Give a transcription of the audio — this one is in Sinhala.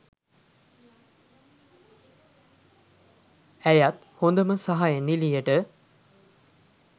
ඇයත් හොදම සහාය නිළියට